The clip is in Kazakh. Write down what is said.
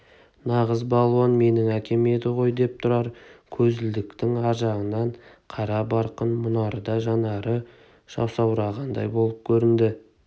нағыз балуан менің әкем еді ғой деп тұрар көзілдіріктің аржағынан қара барқын мұнарда жанары жасаурағандай болып көрінді